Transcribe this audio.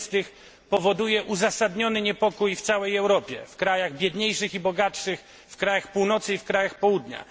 30., powoduje uzasadniony niepokój w całej Europie w krajach biedniejszych i bogatszych, w krajach północy i w krajach południa.